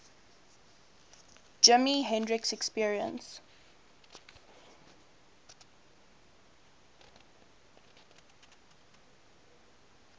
jimi hendrix experience